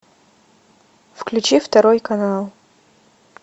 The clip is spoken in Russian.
включи второй канал